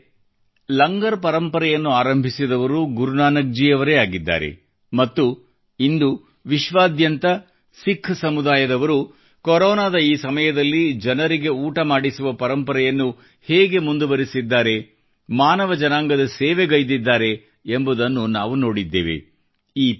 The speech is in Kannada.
ಸ್ನೇಹಿತರೆ ಲಂಗರ್ ಪರಂಪರೆಯನ್ನು ಆರಂಭಿಸಿದವರು ಗುರುನಾನಕ್ ಜಿ ಅವರೇ ಆಗಿದ್ದಾರೆ ಮತ್ತು ಇಂದು ವಿಶ್ವಾದ್ಯಂತ ಸಿಖ್ ಸಮುದಾಯದವರು ಕೊರೊನಾದ ಈ ಸಮಯದಲ್ಲಿ ಜನರಿಗೆ ಊಟ ಮಾಡಿಸುವ ಪರಂಪರೆಯನ್ನು ಹೇಗೆ ಮುಂದುವರೆಸಿದ್ದಾರೆ ಮಾನವ ಜನಾಂಗದ ಸೇವೆಗೈದಿದ್ದಾರೆ ಎಂಬುದನ್ನು ನಾವು ನೋಡಿದ್ದೇವೆ